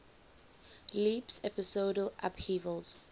leaps episodal upheavals